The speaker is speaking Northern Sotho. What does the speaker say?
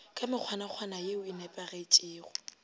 ka mekgwanakgwana ye e nepagetpego